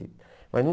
Mas não...